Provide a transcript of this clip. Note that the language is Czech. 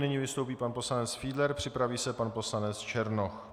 Nyní vystoupí pan poslanec Fiedler, připraví se pan poslanec Černoch.